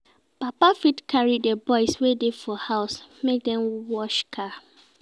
Papa fit carry di boys wey dey for house make dem wash car